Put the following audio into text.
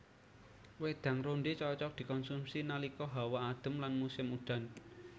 Wédang rondhé cocok dikonsumsi nalika hawa adem lan musim udan